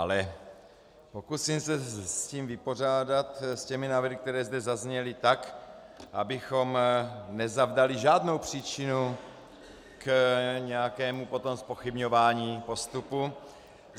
Ale pokusím se s tím vypořádat, s těmi návrhy, které zde zazněly, tak, abychom nezavdali žádnou příčinu k nějakému potom zpochybňování postupu.